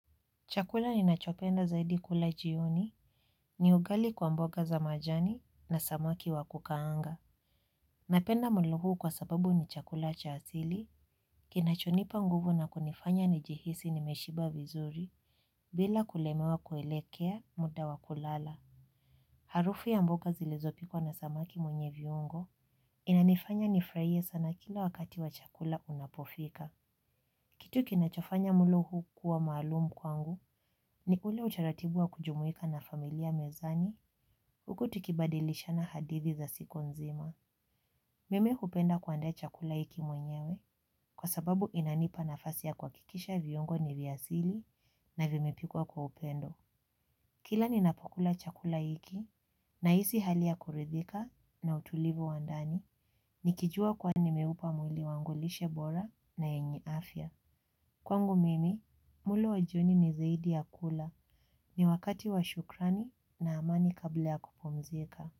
Chakula ninachopenda zaidi kula jioni, ni ugali kwa mboga za majani na samaki wa kukaanga. Napenda mlo huu kwa sababu ni chakula cha asili, kinachonipa nguvu na kunifanya nijihisi nimeshiba vizuri, bila kulemewa kuelekea muda wa kulala. Harufu ya mboga zilizopikwa na samaki mwenye viungo, inanifanya nifurahie sana kila wakati wa chakula unapofika. Kitu kinachofanya mlo huu kuwa maalumu kwangu ni ule utaratibu wa kujumuika na familia mezani huku tukibadilisha na hadithi za siku nzima. Mimi hupenda kuandaa chakula hiki mwenyewe kwa sababu inanipa nafasi ya kuhakikisha viungo ni vya asili na vimepikwa kwa upendo. Kila ninapokula chakula hiki nahisi hali ya kuridhika na utulivu wa ndani nikijua kuwa nimeupa mwili wangu lishe bora na yenye afya. Kwangu mimi, mlo wa jioni ni zaidi ya kula ni wakati wa shukrani na amani kabla ya kupumzika.